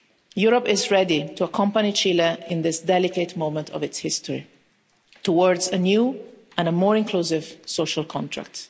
Europe is ready to accompany Chile in this delicate moment of its history towards a new and a more inclusive social contract.